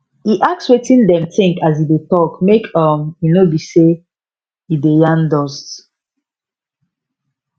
e ask wetin dem think as e dey talk make um e no be say e dey yarn dust